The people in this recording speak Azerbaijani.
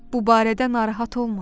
Bu barədə narahat olma.